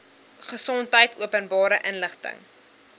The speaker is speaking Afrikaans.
gesondheid openbare inligting